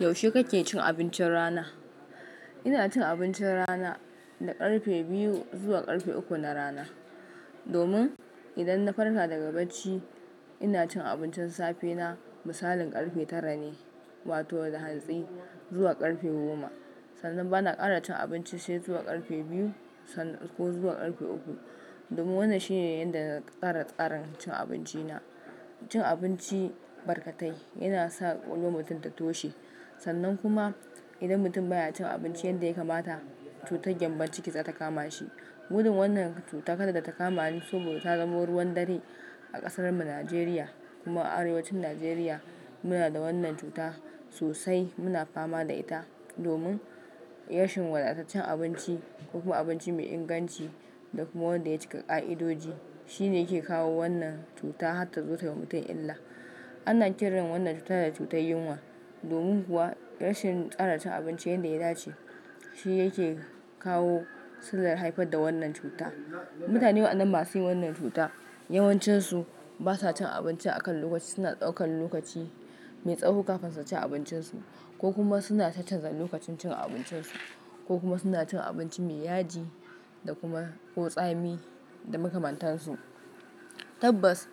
Yaushe kake cin abincin rana? Ina cin abincin rana na ƙarfe biyu zuwa ƙarfe uku na rana. Domin idan na farsa daga bacci ina cin abincin safe na misalin ƙarfe tara ne wato da hatsi zuwa ƙarfe goma. Sannan bana ƙara cin abinci sai zuwa ƙarfe biyu ko zuwa ƙarfe uku. Domin wannan shine yanda na ƙara ƙarin cin abinci na. Cin abinci barkatai yana sa ƙullon mutum ta toshe. Sannan kuma idan mutum baya cin abinci yanda ya kamata cutar gyambon ciki za ta kama shi. Gudun wannan cuta kada ta kama ni saboda ta zamo ruwan dare a ƙasar mu Najeriya kuma a arewacin Najeriya muna da wannan cuta sosai muna fama da ita domin rashin wadataccen abinci ko kuma abinci mai inganci da kuma wanda ya cika ƙa'idoji shine yake kawo wannan cuta har ta zo ta yi wa mutum illa. Ana kirkan wannan cuta da cutar yunwa domin kuwa rashin tsara cin abinci yanda ya dace shine yake kawo sallar haifar da wannan cuta. Mutane waɗannan masu yin wannan cuta yawancinsu basa cin abinci a kan lokaci suna ɗaukan lokaci mai tsaho kafin su ci abincinsu ko kuma suna tacazar lokacin cin abincinsu ko kuma suna cin abinci mai yaji da kuma ko tsami da makamantansu. Yaushe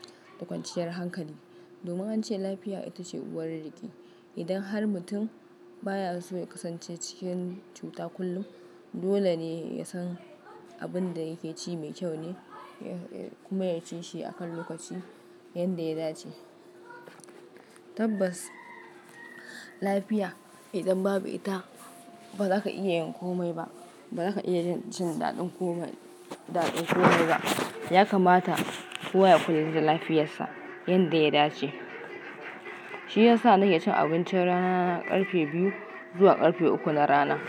kake cin abincin rana? Ina cin abincin rana na ƙarfe biyu zuwa ƙarfe uku na rana. Domin domin ance lafiya ita ce uwar riƙi. Idan har mutum baya so ya kasance cikin cuta kullum dole ne ya san abin da yake ci mai kyau ne ya-ya kuma ya ci shi a kan lokaci yanda ya dace. Tabbas lafiya idan babu ita ba za ka iya yin komai ba ba za ka iya jin daɗin komai daɗin komai ba. Ya kamata kowa ya kula da lafiyarsa yanda ya dace. Shi yasa nake cin abincin rana ƙarfe biyu zuwa ƙarfe uku na rana.